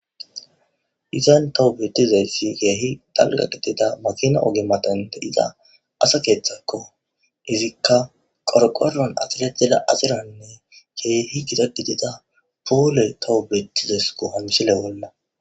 izan towo bettizayssi keehi talga gidida makina oge matanda iza asa keeththakko izikka qorqoron axire dela aziranne keehi gida gidida poole towu beettizas gohamse lewonna